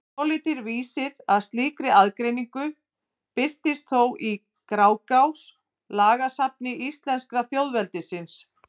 Svolítill vísir að slíkri aðgreiningu birtist þó í Grágás, lagasafni íslenska þjóðveldisins.